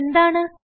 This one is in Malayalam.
ഇത് എന്താണ്